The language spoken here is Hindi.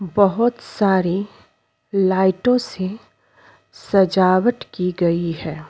बहोत सारी लाइटों से सजावट की गई है।